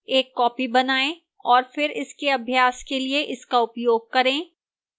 एक copy बनाएं और फिर अभ्यास के लिए इसका उपयोग करें